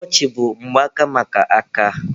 Wọọchị bụ mgbaaka maka aka.